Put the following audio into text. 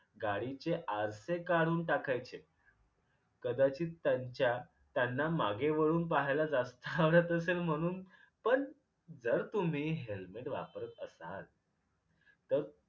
गाडीचे आरसे काढून टाकायचे कदाचित त्यांच्या त्यांना मागे वळून पाहायला जास्त आवडत असेल म्हणून पण जर तुम्ही helmet वापरत असाल तर